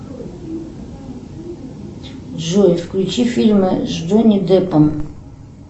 джой включи фильмы с джонни деппом